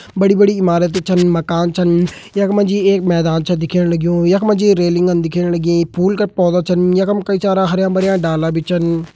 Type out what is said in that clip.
बड़ी-बड़ी इमारते छन माकन छन यखमा जी एक मैदान च दिखयाण लागूं यखम जी रेलिंग च दिखयाणा लंगी फूल क पौधा छन यखम कई सारा हरयां-भरयां डाला बी छन।